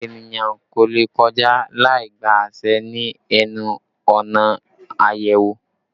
Èniyàn kò lè kọjá láì gba àṣẹ ni ẹnu ọ̀nà ayẹwo